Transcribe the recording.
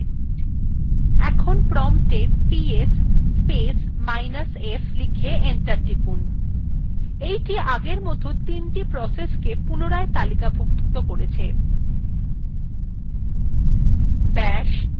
এখন promptএ গিয়ে ps space minus f লিখে enter টিপুন এইটি এখন আগের মতন ৩the প্রসেসকে পুনরায় তালিকাভুক্ত করবে